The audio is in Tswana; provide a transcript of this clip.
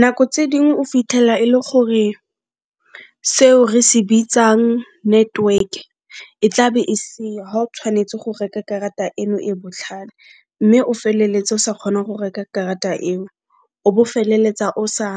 Nako tse ding o fitlhela e le gore seo re se bitsang network e tla be e seyo ga o tshwanetse go reka karata eno e botlhale mme o feleletse o sa kgona go reka karata eo, o bo o feleletsa o sa